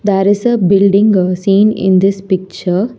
There is a building seen in this picture.